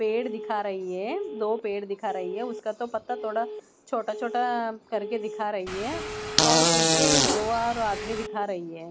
पेड़ दिखा रही है दो पेड़ दिखा रही है उसका तो पत्ता थोड़ा छोटा-छोटा अ करके दिखा रही है और पीछे दो और आदमी दिखा रही है।